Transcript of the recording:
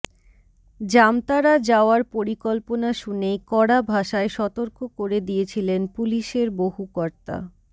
জামতারা যাওয়ার পরিকল্পনা শুনেই কড়া ভাষায় সতর্ক করে দিয়েছিলেন পুলিশের বহু কর্তা